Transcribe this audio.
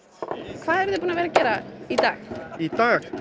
hvað eruð þið búnir að vera að gera í dag í dag